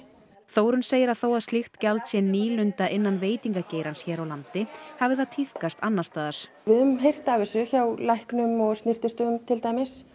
Þórunn segir að þó að slíkt gjald sé nýlunda innan veitingageirans hér á landi hafi það tíðkast annars staðar við höfum heyrt af þessu hjá læknum og snyrtistofum til dæmis